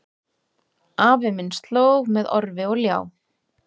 Afi minn slóg með orfi og ljá